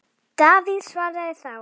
Davíð svaraði þá